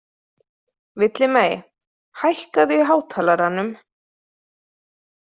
Villimey, hækkaðu í hátalaranum.